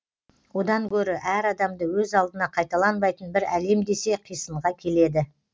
одан гөрі әр адамды өз алдына қайталанбайтын бір әлем десе қисынға келеді